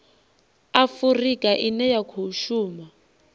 afurika ine ya khou shuma